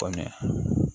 Kɔmi